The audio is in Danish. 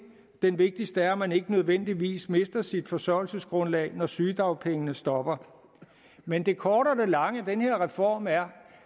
den vigtigste er at man ikke nødvendigvis mister sit forsørgelsesgrundlag når sygedagpengene stopper men det korte af det lange af den her reform er